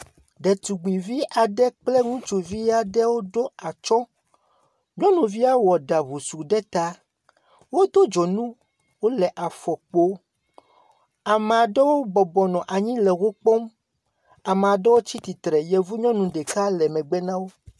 Ɖetugbivi aɖe kple ŋutsuvi aɖewo ɖo atsɔ. Nyɔnuvia wɔ ɖa wosu ɖe ta. Wodo dzonu. Wole afɔ kpo. Ame aɖewo bɔbɔnɔ anyi le wo kpɔ. Ame aɖewo tsi tsitre. Yevu nyɔnu ɖeka le megbe na wo.